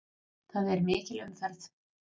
Það er mikil umferð.